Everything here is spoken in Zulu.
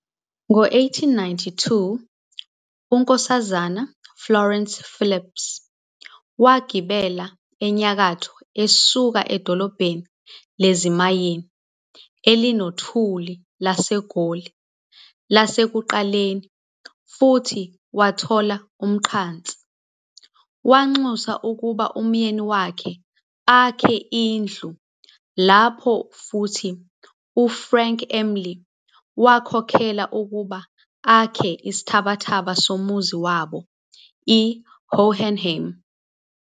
Ngo-1892, uNkosazana Florence Phillips wagibela enyakatho esuka edolobheni lezimayini elinothuli laseGoli lasekuqaleni futhi wathola umqansa. Wanxusa ukuba umyeni wakhe akhe indlu lapho futhi uFrank Emley wakhokhelwa ukuba akhe isithabathaba somuzi wabo, I-Hohenheim.